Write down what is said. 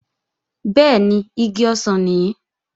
Bẹ́ẹ̀ni, igi ọsàn nìí